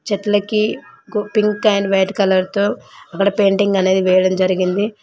చెట్లకి pink and white colour తో అక్కడ పెయింటింగ్ అనేది వేయడం జరిగింది.